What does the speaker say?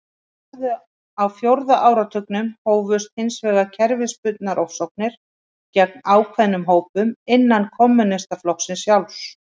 Á fjórða áratugnum hófust hins vegar kerfisbundnar ofsóknir gegn ákveðnum hópum innan kommúnistaflokksins sjálfs.